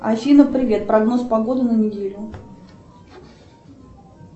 афина привет прогноз погоды на неделю